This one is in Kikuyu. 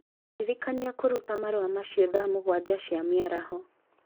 Ndĩrikania kũruta marũa macio thaa mũgwanja cia mĩaraho